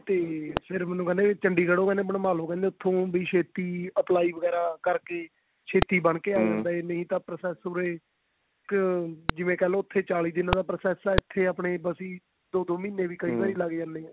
ਤੇ ਫ਼ੇਰ ਮੈਨੂੰ ਕਹਿੰਦੇ ਚੰਡੀਗੜ ਤੋਂ ਬਣਵਾ ਲੋ ਵੀ ਇੱਥੋਂ ਛੇਤੀ apply ਵਗੇਰਾ ਕਰਕੇ ਛੇਤੀ ਆ ਜਾਂਦਾ ਨਹੀਂ ਤਾਂ process ਅਮ ਜਿਵੇਂ ਕਹਿਲੋ ਉੱਥੇ ਚਾਲੀ ਕਿੱਲੋ ਦਾ process ਹੈ ਇੱਥੇ ਆਪਣੇ ਬਸੀ ਦੋ ਦੋ ਮਹੀਨੇ ਵੀ ਲੱਗ ਜਾਂਦੇ ਆ